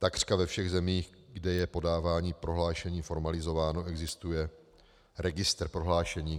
Takřka ve všech zemích, kde je podávání prohlášení formalizováno, existuje registr prohlášení.